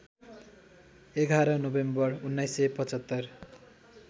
११ November १९७५